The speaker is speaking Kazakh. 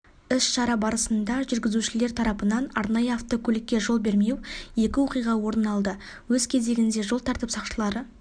іс-шара барысында жүргізушілер тарапынан арнайы автокөлікке жол бермеу екі оқиға орын алды өз кезегінде жол тәртіп сақшылары